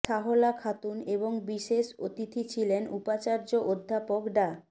সাহলা খাতুন এবং বিশেষ অতিথি ছিলেন উপাচার্য অধ্যাপক ডা